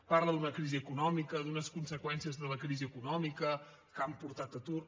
parla d’una crisi econòmica d’unes conseqüències de la crisi econòmica que han portat atur